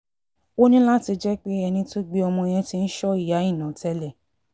ó ní láti jẹ́ pé ẹni tó gbé ọmọ yẹn ti ń sọ ìyá àìná tẹ́lẹ̀